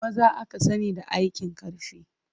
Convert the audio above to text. Maza aka sani da aikin ƙarfi.